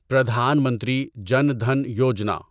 Pradhan Mantri Jan Dhan Yojana